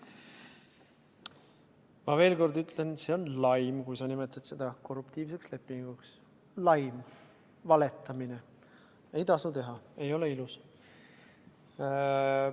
Ma veel kord ütlen: see on laim, kui sa nimetad seda korruptiivseks lepinguks, laim, valetamine, ei tasu teha, ei ole ilus.